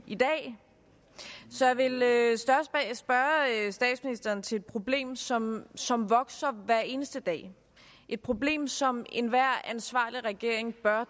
i dag så jeg vil spørge statsministeren til et problem som som vokser hver eneste dag et problem som enhver ansvarlig regering bør